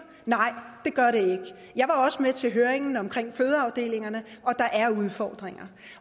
nej det gør det ikke jeg var også med til høringen om fødeafdelingerne og der er udfordringer